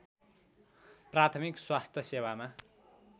प्राथमिक स्वास्थ्य सेवामा